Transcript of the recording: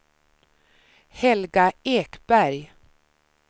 Helga Ekberg